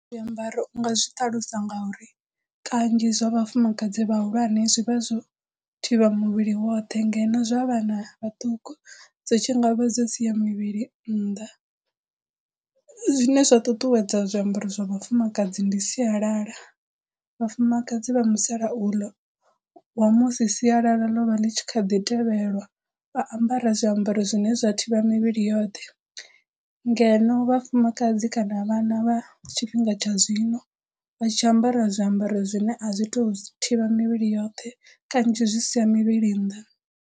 Zwiambaro u nga zwi ṱalusa ngauri kanzhi zwa vhafumakadzi vhahulwane zwivha zwo thivha muvhili woṱhe ngeno zwa vhana vhaṱuku zwi tshi ngavha zwo siya mivhili nnḓa. Zwine zwa ṱuṱuwedza zwiambaro zwa vhafumakadzi ndi sialala vhafumakadzi vha musalauno wa musi sialala ḽo vha ḽi tshi kha ḓi tevhelwa vha ambara zwiambaro zwine zwa thivha mivhili yoṱhe ngeno vhafumakadzi kana vhana vha tshifhinga tsha zwino vha tshi ambara zwiambaro zwine a zwi to thivha mivhili yoṱhe kanzhi zwi siya mivhili nnḓa.